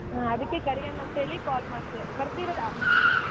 ಹಾ ಅದಕೆ ಕರಿಯೊಣ ಅಂತ ಹೇಳಿ call ಮಾಡ್ದೆ ಬರ್ತೀರಾ?